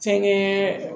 Fɛnkɛ